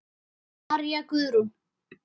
María Guðrún.